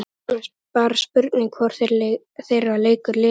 Bara spurning hvor þeirra leikur liminn.